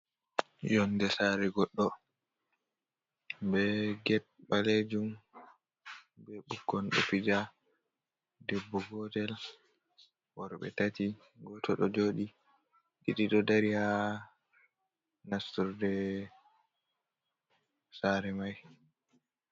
Yonɗe sare goɗɗo. Be get balejum. Bukkon ɗo fija. Ɗebbo gotel, worbe tati. Goto ɗo joɗi, ɗiɗi ɗo ɗari ha nasturɗe sare mai.